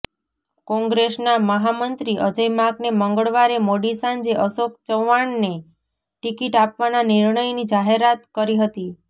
કોંગ્રેસના મહામંત્રી અજય માકને મંગળવારે મોડી સાંજે અશોક ચવ્વાણને ટિકિટ આપવાના નિર્ણયની જાહેરાત કરી હતી